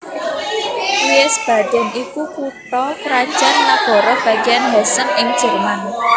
Wiesbaden iku kutha krajan nagara bagian Hessen ing Jerman